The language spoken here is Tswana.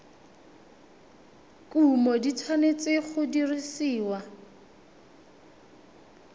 kumo di tshwanetse go dirisiwa